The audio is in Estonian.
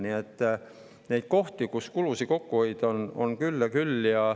Nii et neid kohti, kus kulusid kokku hoida, on küll ja küll.